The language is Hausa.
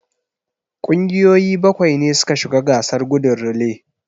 Kungiyoyi bakwai ne suka shiga gasar gudun relay.